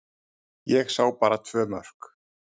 Ég sá bara tvö mörk.